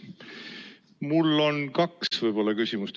Mul on kaks küsimust.